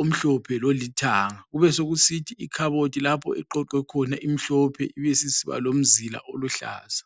omhlophe lolithanga. Kubesekusithi ikhabothi lapho eqoqwekhona imhlophe ibisisiba lomzila oluhlaza.